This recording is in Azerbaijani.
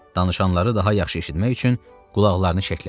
Danışanları daha yaxşı eşitmək üçün qulaqlarını şəklədi.